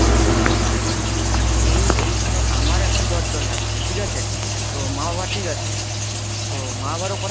এই এইখানে আমার এখন জ্বর জ্বর লাগছে ঠিক আছে? তো মা বাবা ঠিক আছে, তো মা-বাবারও করার